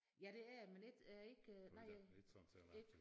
Ja det er jeg men ikke øh ikke nej ikke